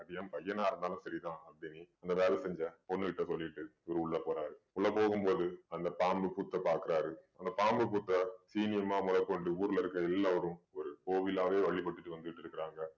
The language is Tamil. அது என் பையனா இருந்தாலும் சரிதான் அங்க வேல செஞ்சேன் பொண்ணுகிட்ட சொல்லிட்டு இவரு உள்ள போறாரு உள்ள போகும்போது அந்த பாம்பு புத்த பாக்குறாரு அந்த பாம்பு புத்த முறைக் கொண்டு ஊர்ல இருக்கிற எல்லாரும் ஒரு கோவிலாவே வழிபட்டுட்டு வந்துட்டு இருக்காங்க